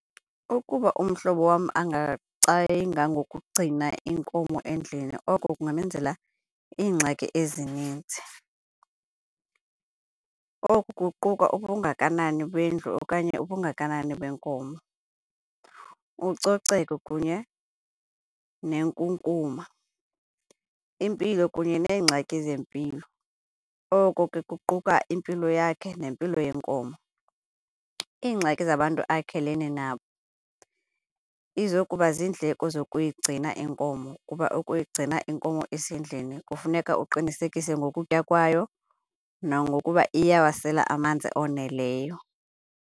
Ukuba umhlobo wam ngokugcina inkomo endlini, oko kungamenzela iingxaki ezininzi. Oku kuquka ubungakanani bendlu okanye ubungakanani benkomo, ucoceko kunye nenkunkuma, impilo kunye neengxaki zempilo, oko ke kuquka impilo yakhe nempilo yenkomo. Iingxaki zabantu akhelene nabo. Izokuba ziindleko zokuyigcina iinkomo kuba ukuyigcina iinkomo isendlini kufuneka uqinisekise ngokutya kwayo nangokuba iyawasela amanzi oneleyo.